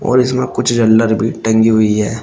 और इसमें कुछ झल्लर भी टंगी हुई है।